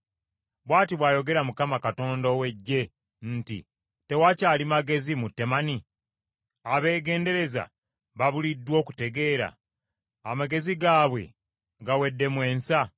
Bw’ati bw’ayogera Mukama Katonda ow’Eggye nti, “Tewakyali magezi mu Temani? Abeegendereza babuliddwa okutegeera? Amagezi gaabwe gaweddemu ensa?